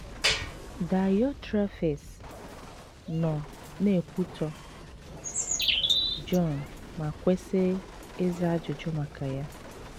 Daịọtrefis nọ na - ekwutọ Jọn ma kwesị ịza ajụjụ maka ya.